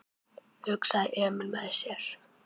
hugsaði Emil með sér.